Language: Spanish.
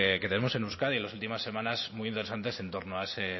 que tenemos en euskadi en las últimas semanas muy interesantes en torno a esos